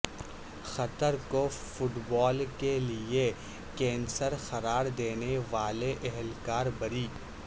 قطر کو football کے لیے کینسر قرار دینے والے اہلکار بری